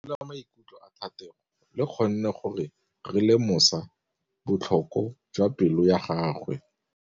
Lentswe la maikutlo a Thategô le kgonne gore re lemosa botlhoko jwa pelô ya gagwe.